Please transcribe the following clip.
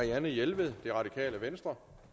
hjælper som